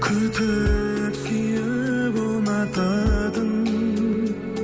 күтіп сүйіп ұнататын